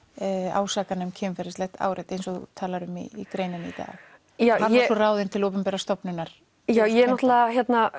ásakana um kynferðislegt áreiti eins og þú talar um í greininni í dag hann var ráðinn til opinberrar stofnunar já ég náttúrulega